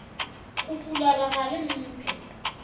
go fulara ga le mphe